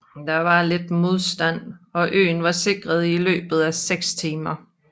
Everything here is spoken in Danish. Der var lidt modstand og øen var sikret i løbet af seks timer